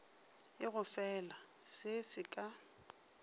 e gofela se se ka